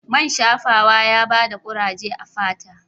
Man shafawa ya ba ta kuraje a fata